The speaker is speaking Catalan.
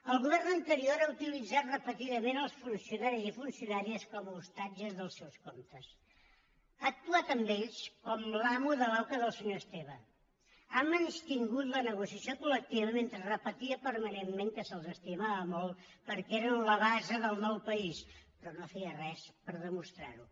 el govern anterior ha utilitzat repetidament els funcionaris i funcionàries com a ostatges dels seus comptes ha actuat amb ells com l’amo de l’auca del senyor esteve ha menystingut la negociació col·lectiva mentre repetia permanentment que se’ls estimava molt perquè eren la base del nou país però no feia res per demostrar ho